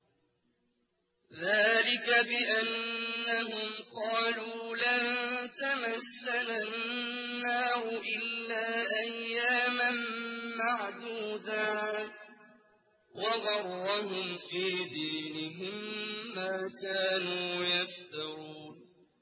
ذَٰلِكَ بِأَنَّهُمْ قَالُوا لَن تَمَسَّنَا النَّارُ إِلَّا أَيَّامًا مَّعْدُودَاتٍ ۖ وَغَرَّهُمْ فِي دِينِهِم مَّا كَانُوا يَفْتَرُونَ